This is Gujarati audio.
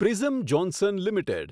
prism Johnson limited